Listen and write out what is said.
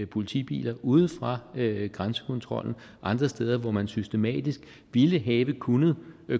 politibiler ude fra grænsekontrollen og andre steder hvor man systematisk ville have kunnet